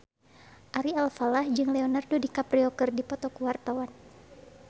Ari Alfalah jeung Leonardo DiCaprio keur dipoto ku wartawan